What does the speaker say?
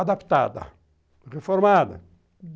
adaptada, reformada.